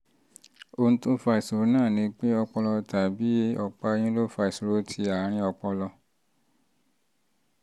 ohun tó fa ìṣòro náà ni pé ọpọlọ tàbí ọ̀pá-ẹ̀yìn ọ̀pá-ẹ̀yìn ló fa ìṣòro ti àárín ọpọlọ